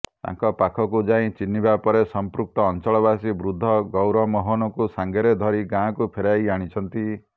ତାଙ୍କ ପାଖକୁ ଯାଇ ଚିହ୍ନିବା ପରେ ସମ୍ପୃକ୍ତ ଅଞ୍ଚଳବାସୀ ବୃଦ୍ଧ ଗୌରମୋହନଙ୍କୁ ସାଙ୍ଗରେ ଧରି ଗାଁକୁ ଫେରାଇ ଆଣିଛନ୍ତି